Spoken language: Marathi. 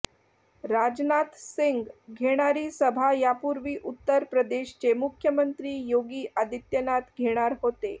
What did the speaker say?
राजनाथ सिंह घेणारी सभा यापूर्वी उत्तर प्रदेशचे मुख्यमंत्री योगी आदित्यनाथ घेणार होते